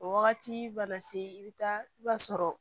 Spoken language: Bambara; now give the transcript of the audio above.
O wagati mana se i bɛ taa i b'a sɔrɔ